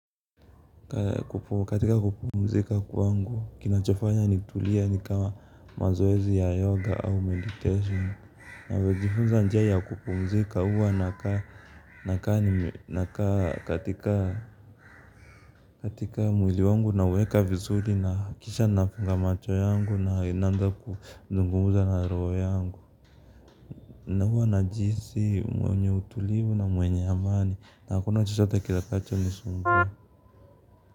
Katika kupumzika kwangu kinachofanya nitulie ni kama mazoezi ya yoga au meditation. Najifunza njia ya kupumzika huwa naka nakaa katika, mwili wangu nauweka vizuri kisha nafunga macho yangu naanza kuzungumza na roho yangu na huwa najihisi mwenye utulivu na mwenye amani na hakuna chochote kitakachonisumbua.